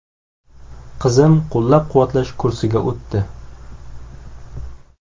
Qizim qo‘llab-quvvatlash kursiga o‘tdi.